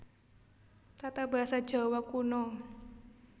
Tatabasa Djawa Kuno